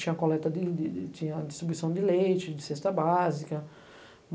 Tinha coleta de de, istribuição de leite, de cesta básica.